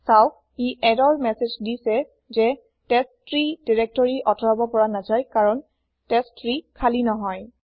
চাওক ই error message দিছে যে টেষ্ট্ৰী দিৰেক্তৰি আতৰাব পৰা নাযায় কাৰণ টেষ্ট্ৰী খালি নহয়